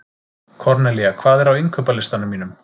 Kornelía, hvað er á innkaupalistanum mínum?